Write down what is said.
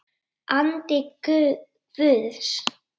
Andi Guðs.